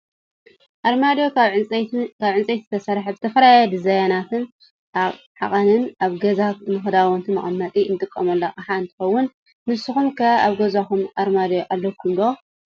ኣርማድዮ ካብ ዕንፀይቲ ዝስራሕ ብዝተፈላለዩ ዲዛይናትን ዓቀንን ኣብ ገዛ ንክዳውንቲ መቀመጢ እንጥቀመሉ ኣቅሓ እንትከውን፣ ንስኩም ከ ኣብ ገዛኩም ኣርማድዮ ኣለኩም ዶ?